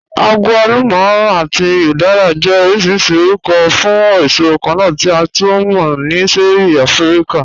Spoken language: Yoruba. Àgwàlùmà àti udara jẹ́ ọ̀rọ̀ṣìrìṣì ọ̀rùkọ̀ fún èṣò kànna tí a tú mọ̀ ni ṣẹ̀ẹ̀rí Àfíríkà